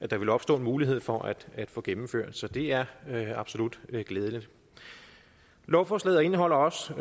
der ville opstå mulighed for at at få gennemført så det er absolut glædeligt lovforslaget indeholder også